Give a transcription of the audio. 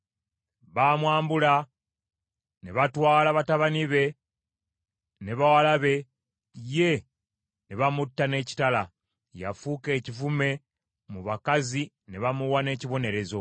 Baamwambula, ne batwala batabani be ne bawala be, ye ne bamutta n’ekitala. Yafuuka ekivume mu bakazi ne bamuwa n’ekibonerezo.